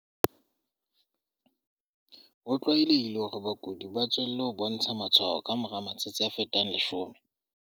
Ho tlwaelehile hore bakudi ba tswelle ho bontsha matshwao ka mora matsatsi a fetang 10.